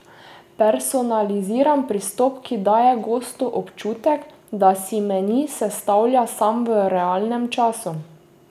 Personaliziran pristop, ki daje gostu občutek, da si meni sestavlja sam v realnem času.